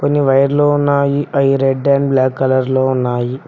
కొన్ని వైర్లు ఉన్నాయి అవి రెడ్ అండ్ బ్లాక్ కలర్ లో ఉన్నాయి.